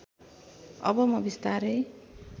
अब म बिस्तारै